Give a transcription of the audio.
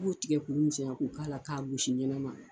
I b'o tigɛ k'olu misɛya k'u k'a la k'a gosi ɲɛnama!